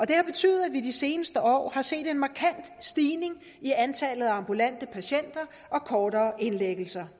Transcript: det har betydet at vi i de seneste år har set en markant stigning i antallet af ambulante patienter og kortere indlæggelser